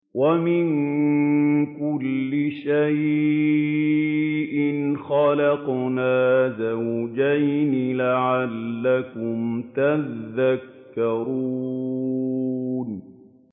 وَمِن كُلِّ شَيْءٍ خَلَقْنَا زَوْجَيْنِ لَعَلَّكُمْ تَذَكَّرُونَ